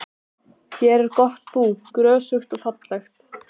Hér er gott undir bú, grösugt og fallegt.